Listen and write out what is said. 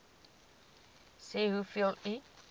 sê hoeveel u